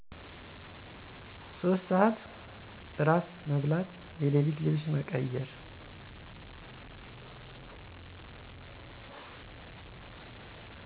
3:00 እራት መብላት የሌሊት ልብስ መቀዩር